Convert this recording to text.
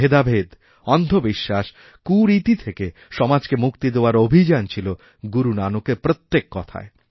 ভেদাভেদ অন্ধ বিশ্বাস কুরীতি থেকে সমাজকে মুক্তি দেওয়ার অভিযান ছিল গুরুনানকের প্রত্যেক কথায়